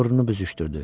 Burnunu büzüşdürdü.